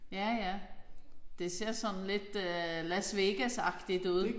Ja ja. Det ser sådan lidt Las Vegas agtigt ud